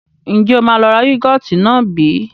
Ǹjẹ́ o máa lọ ra yúgọ́ọ́tì náà bí?